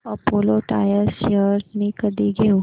Apollo tyres shares मी कधी घेऊ